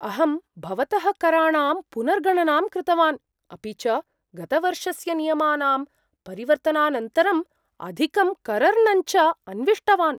अहं भवतः कराणां पुनर्गणनां कृतवान्, अपि च गतवर्षस्य नियमानां परिवर्तनानन्तरम् अधिकं करर्णञ्च अन्विष्टवान्।